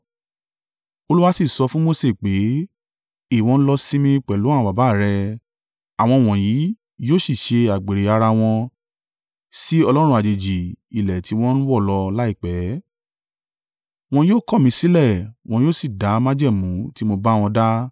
Olúwa sì sọ fún Mose pé, “Ìwọ ń lọ sinmi pẹ̀lú àwọn baba à rẹ, àwọn wọ̀nyí yóò sì ṣe àgbèrè ara wọn sí ọlọ́run àjèjì ilẹ̀ tí wọn ń wọ̀ lọ láìpẹ́. Wọn yóò kọ̀ mí sílẹ̀ wọn yóò sì da májẹ̀mú tí mo bá wọn dá.